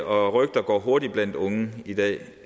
og rygter går hurtigt blandt unge i dag